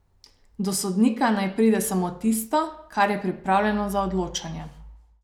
Do sodnika naj pride samo tisto, kar je pripravljeno za odločanje.